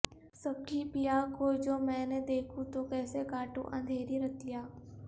سکھی پیا کو جو میں نہ دیکھوں تو کیسے کاٹوں اندھیری رتیاں